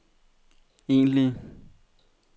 egentlige